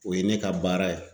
O ye ne ka baara ye.